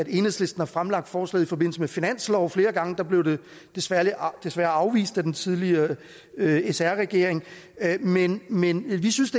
enhedslisten fremlagt forslaget i forbindelse med finansloven flere gange det blev desværre desværre afvist af den tidligere sr regering men men vi synes